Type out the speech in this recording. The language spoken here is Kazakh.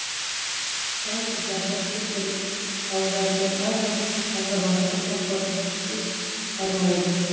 жалпы зардап шеккен ауылдардың әрбір азаматы қамқорлықсыз қалмайды